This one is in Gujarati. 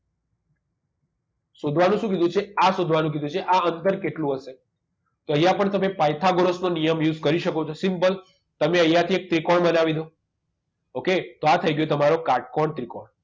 શોધવાનું શું કીધું છે આ શોધવાનું કીધું છે આ અંતર કેટલું હશે તો અહીંયા પણ તમે પાયથાગોરસનો નિયમ use કરી શકો છો simple તમે અહીંયા થી એક ત્રિકોણ બનાવી દો okay તો આ થઈ ગયો તમારો કાટકોણ ત્રિકોણ